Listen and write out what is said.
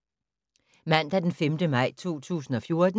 Mandag d. 5. maj 2014